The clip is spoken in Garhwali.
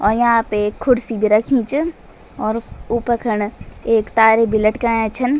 और याँ पे एक कुर्सी भी रखीं च और ऊपर खण एक तार भी लटकायाँ छन।